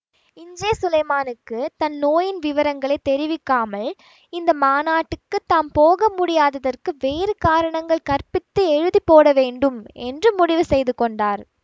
இஞ்சே சுலைமானுக்கு தன் நோயின் விவரங்களை தெரிவிக்காமல் இந்த மாநாட்டுக்குத் தாம் போக முடியாததற்கு வேறு காரணங்கள் கற்பித்து எழுதி போடவேண்டும் என்று முடிவு செய்து கொண்டார்